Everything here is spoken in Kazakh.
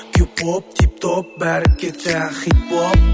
кюп оп тип топ бәрі кетті хит боп